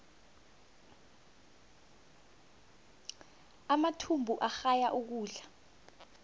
amathumbu agaya ukudla